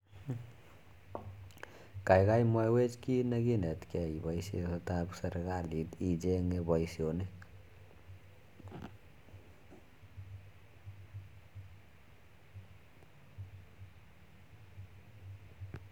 Kaikakii mwawech kiit nee kinet kee ipioishe kotap serekalit ichenge paishonik